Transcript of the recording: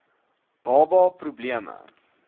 baba pro bleme